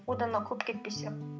одан да көп кетпесе